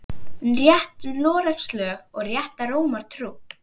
Rétt Noregs lög og rétta Rómar trú